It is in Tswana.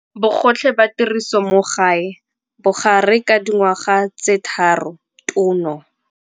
Bogotlhe ba tiriso mo gae, bogare ka dingwaga tse 3, tono.